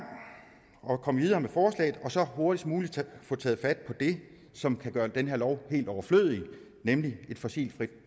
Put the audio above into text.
og komme videre med forslaget og så hurtigst muligt få taget fat på det som kan gøre den her lov helt overflødig nemlig et fossilfrit